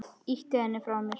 Ýti henni frá mér.